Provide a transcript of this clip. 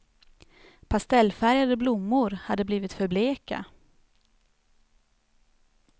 Pastellfärgade blommor hade blivit för bleka.